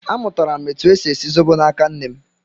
Amụtara m etu e si esi zobo n'aka nne m